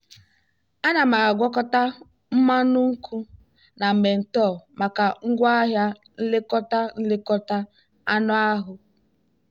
ana m agwakọta mmanụ nkwụ na menthol maka ngwaahịa nlekọta nlekọta anụ ahụ.